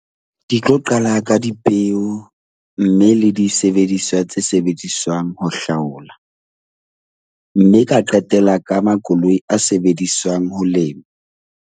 Ke tlo qala ka dipeo mme le disebediswa tse sebediswang ho hlaola mme ka qetela ka makoloi a sebediswang ho lema.